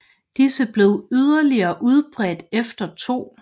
Disse blev yderligere udbredte efter 2